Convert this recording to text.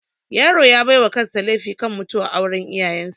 Yaro ya baiwa kansa laifi kan mutuwar auran iyayan sa